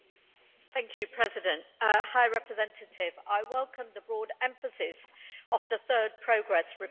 Mr President, High Representative, I welcome the broad emphasis of the third progress report.